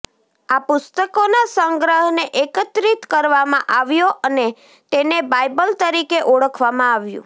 આ પુસ્તકોના સંગ્રહને એકત્રિત કરવામાં આવ્યો અને તેને બાઇબલ તરીકે ઓળખવામાં આવ્યું